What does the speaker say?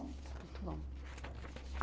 Muito bom.